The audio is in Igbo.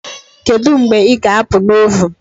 Kedu mgbe ị ga-apụ na ovun